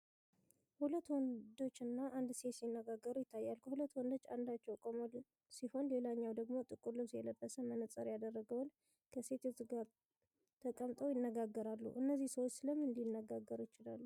ሁለት ወንዶች እና አንድ ሴት ሲነጋገሩ ይታያል። ከሁለቱ ወንዶች አንደኛው ቆሞ ሲሆን ሌላኛው ደግሞ ጥቁር ልብስ የለበሰ መነፅር ያደረገ ወንድ ከሴቲቱ ጋር ተቀምጠው ይነጋገራሉ። እነዚህ ሰዎች ስለ ምን ሊነጋገሩ ይችላሉ?